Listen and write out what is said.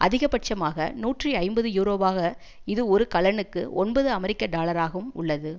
அதிகபட்சமாக நூற்றி ஐம்பது யூரோவாக இது ஒரு கலனுக்கு ஒன்பது அமெரிக்க டாலராகும் உள்ளது